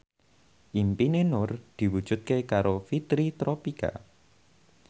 impine Nur diwujudke karo Fitri Tropika